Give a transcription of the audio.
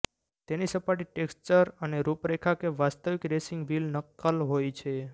તેની સપાટી ટેક્ષ્ચર અને રૂપરેખા કે વાસ્તવિક રેસિંગ વ્હીલ નકલ હોય છે